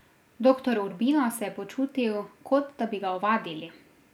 Doktor Urbino se je počutil, kot da bi ga ovadili.